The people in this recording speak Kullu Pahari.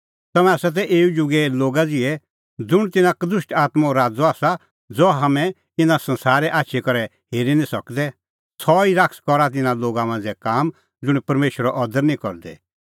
तम्हैं तै एऊ जुगे लोगा ज़िहै ज़ुंण तेऊ शैताने साबै च़ला तै ज़ुंण तिन्नां कदुष्ट आत्मों राज़अ आसा ज़हा हाम्हैं इना संसारे आछी करै हेरी निं सकदै सह ई शैतान करा तिन्नां लोगा मांझ़ै काम ज़ुंण परमेशरो अदर निं करदै